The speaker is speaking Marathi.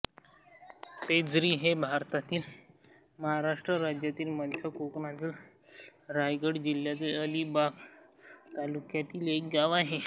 पेझरी हे भारतातील महाराष्ट्र राज्यातील मध्य कोकणातील रायगड जिल्ह्यातील अलिबाग तालुक्यातील एक गाव आहे